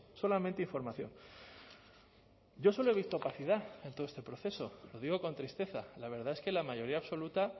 solamente información yo solo he visto opacidad en todo este proceso lo digo con tristeza la verdad es que la mayoría absoluta